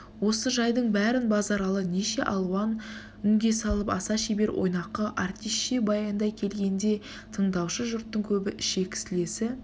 осы жайдың бәрін базаралы неше алуан үнге салып аса шебер ойнақы артисше баяндай келгенде тындаушы жүрттың көбі ішек-сілесі